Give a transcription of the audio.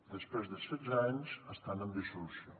després de setze anys estan en dissolució